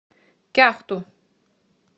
кяхту